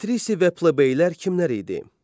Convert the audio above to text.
Patrisi və plebeylər kimlər idi?